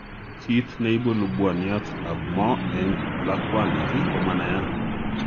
Kiit neibu lubwaniat ab moo eng' lakwandit komanaiyat